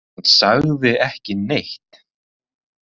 Hann sagði ekki neitt.